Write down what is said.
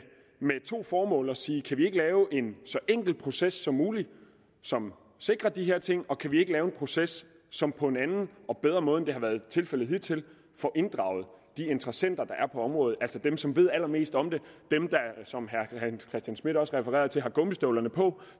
med to formål nemlig at sige kan vi ikke lave en så enkel proces som muligt som sikrer de her ting og kan vi ikke lave en proces som på en anden og bedre måde end det har været tilfældet hidtil får inddraget de interessenter der er på området altså dem som ved allermest om det dem som herre hans christian schmidt også refererer til har gummistøvlerne på